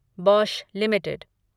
Bosch limited